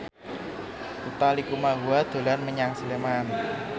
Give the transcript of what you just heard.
Utha Likumahua dolan menyang Sleman